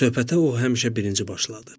Söhbətə o həmişə birinci başladı.